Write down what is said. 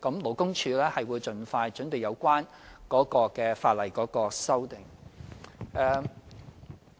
勞工處會盡快準備有關的法例修訂。